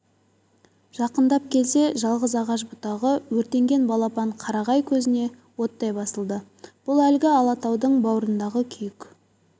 жақындап келсе жалғыз ағаш бұтағы өртенген балапан қарағай көзіне оттай басылды бұл әлгі алатаудың бауырындағы күйік